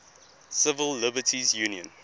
civil liberties union